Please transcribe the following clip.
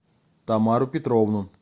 тамару петровну